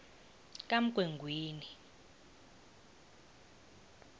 kamgwengweni